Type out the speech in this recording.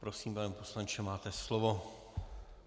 Prosím, pane poslanče, máte slovo.